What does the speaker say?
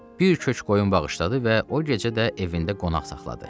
Bir kök qoyun bağışladı və o gecə də evində qonaq saxladı.